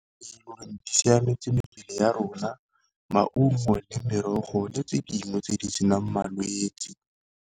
e siametse mebele ya rona, maungo le merogo le tse dingwe tse di senang malwetsi.